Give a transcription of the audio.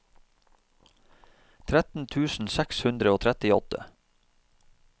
tretten tusen seks hundre og trettiåtte